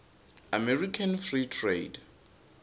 american free trade